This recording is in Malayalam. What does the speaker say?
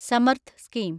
സമർത്ഥ് സ്കീം